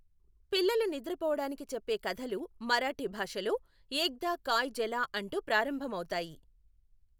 పిల్లలు నిద్ర పోవడానికి చెప్పే కధలు మరాఠీ భాషలో ఎక్దా కాయ్ జలా అంటూ ప్రారంభం అవుతాయి.